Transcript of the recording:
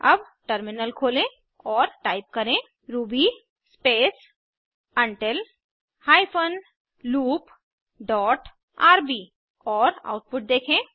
अब टर्मिनल खोलें और टाइप करें Ruby space until hyphen loop dot RB और आउटपुट देखें